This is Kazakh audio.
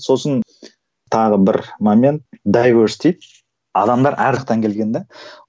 сосын тағы бір момент дейді адамдар әр келген де